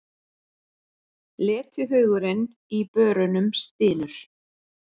Letihaugurinn í börunum stynur.